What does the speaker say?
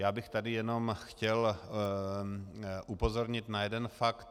Já bych tady jenom chtěl upozornit na jeden fakt.